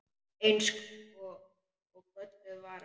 Eins og gölluð vara.